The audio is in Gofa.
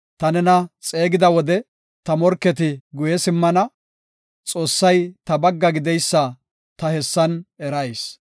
Ta nena xeegiya wode, ta morketi guye simmana; Xoossay ta bagga gideysa ta hessan erayis.